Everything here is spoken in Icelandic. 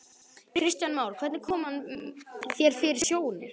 Kristján Már: Hvernig kom hann þér fyrir sjónir?